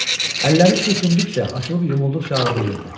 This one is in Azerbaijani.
Əlləri sürtündükcə, açılıb yumulduqca ağrıyırdı.